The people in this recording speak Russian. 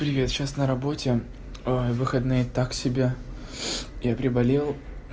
привет сейчас на работе выходные так себе я приболел